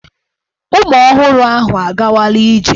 Ụmụ ọhụrụ ahụ a gawala ije.